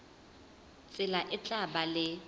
tsela e tla ba le